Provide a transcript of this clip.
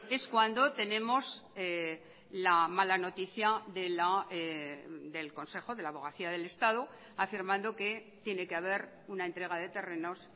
es cuando tenemos la mala noticia del consejo de la abogacía del estado afirmando que tiene que haber una entrega de terrenos